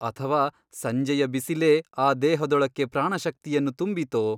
ಅಥವಾ ಸಂಜೆಯ ಬಿಸಿಲೇ ಆ ದೇಹದೊಳಕ್ಕೆ ಪ್ರಾಣಶಕ್ತಿಯನ್ನು ತುಂಬಿತೋ ?